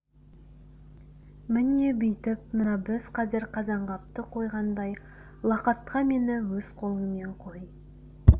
міне бүйтіп мына біз қазір қазанғапты қойғандай лақатқа мені өз қолыңмен қой